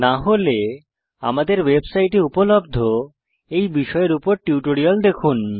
না হলে আমাদের ওয়েবসাইটে উপলব্ধ এই বিষয়ের উপর টিউটোরিয়াল দেখুন